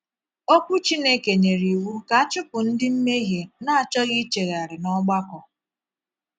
Okwu Chineke nyere iwu ka a chụpụ ndị mmehie na - achọghị ichegharị n’ọgbakọ.